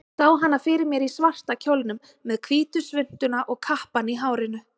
Sá hana fyrir mér í svarta kjólnum, með hvítu svuntuna og kappann í hárinu.